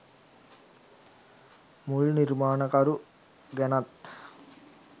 මුල් නිර්මාණකරු ගැනත්